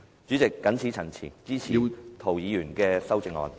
主席，謹此陳辭，支持涂議員的修正案。